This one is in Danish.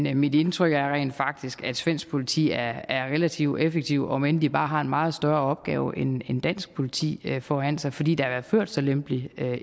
er mit indtryk rent faktisk at svensk politi er er relativt effektivt om end de bare har en meget større opgave end dansk politi foran sig fordi der jo er ført så lempelig